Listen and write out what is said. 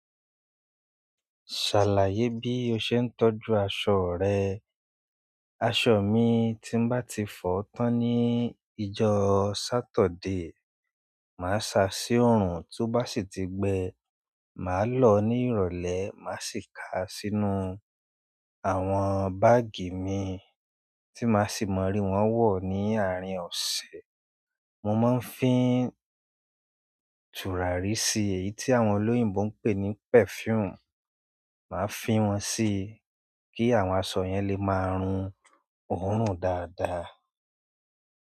Ṣàlàyé bí o ṣe ń tọ́jú aṣọ rẹ. Aṣọ mi tí n bá ti fọ tán ní ìjọ́ọ́ saturday, màá sa sí òòrùn, tó bá sì ti gbẹ, màá lọ̀ọ́ ní ìrọ̀lẹ́, màá sì ka sínú àwọn báàgì mi tí màá sì mọ rí wọ́n wọ̀ ní àárín ọ̀sẹ̀. Mo máa ń fín tùràrí sí èyí tí àwọn olóyìnbo ń pè ní perfume, màá fín wọn sí i kí àwọn aṣọ yẹn lè máa run òórùn dáadáa.